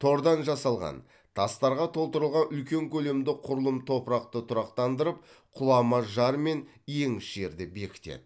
тордан жасалған тастарға толтырылған үлкен көлемді құрылым топырақты тұрақтандырып құлама жар мен еңіс жерді бекітеді